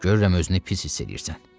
Görürəm özünü pis hiss eləyirsən.